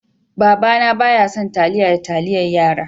Baba na bayasan taliya da taliyar yara.